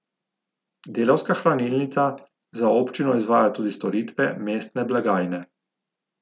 Delavska hranilnica za občino izvaja tudi storitve mestne blagajne.